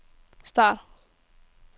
start